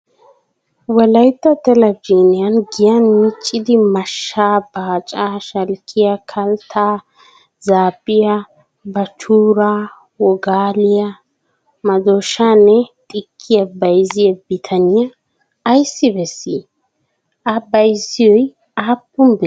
QWolayitta telbejiiniyan giyan miccidi mashshaa, baacaa, shalkkiyaa, kalttaa, zaabbiyaa, baachchuuraa, wogaliyaa, madooshaanne xikkiyaa bayizziyaa bitaniyaa ayissi beessii? A bayizoyi aappun biree?